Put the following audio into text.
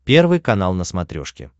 первый канал на смотрешке